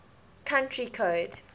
country code